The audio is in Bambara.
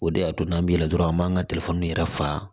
O de y'a to n'an bɛ yɛlɛ dɔrɔn an b'an ka yɛrɛ fa